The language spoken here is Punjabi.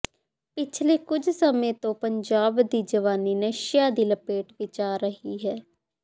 ਪਿਛਲੇ ਕੁਝ ਸਮੇਂ ਤੋਂ ਪੰਜਾਬ ਦੀ ਜਵਾਨੀ ਨਸਿਆ ਦੀ ਲਪੇਟ ਵਿਚ ਆ ਰਹੀ ਹੈ